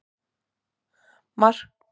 Markó, hvað er mikið eftir af niðurteljaranum?